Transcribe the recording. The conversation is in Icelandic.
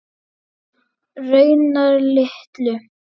Raunar litlu.